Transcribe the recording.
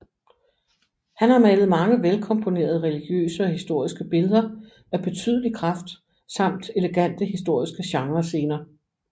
Han har malet mange vel komponerede religiøse og historiske billeder af betydelig kraft samt elegante historiske genrescener